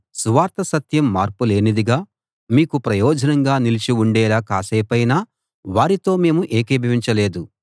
సువార్త సత్యం మార్పులేనిదిగా మీకు ప్రయోజనంగా నిలిచి ఉండేలా కాసేపైనా వారితో మేము ఏకీభవించలేదు